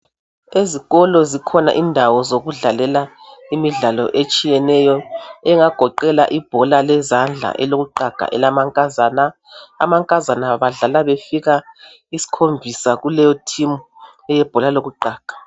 Ezikolo zikhona indawo zokudlalela imidlalo etshiyeneyo engagoqela ibhola lezandla elokuqaga elamankazana. Amankazana badlala befika isikhombisa kuleto thimu eyebhola lokuqaga.